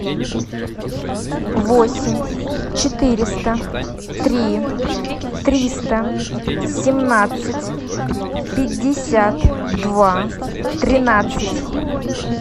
восемь четыреста три триста семнадцать пятьдесят два тринадцать